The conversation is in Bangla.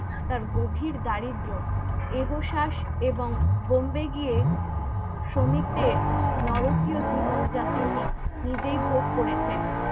তার গভীর দারিদ্র্য এহ শাস এবং Bombay গিয়ে শ্রমিকদের নরকীয় জীবন জাতিনী নিজেই ভোগ করেছেন